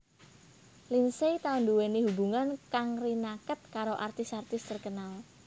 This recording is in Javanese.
Lindsay tau nduwèni hubungan kang rinaket karo artis artis terkenal